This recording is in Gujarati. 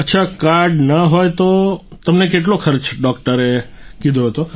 અચ્છા કાર્ડ ન હોય તો તમને કેટલો ખર્ચો ડોક્ટરે કીધો હતો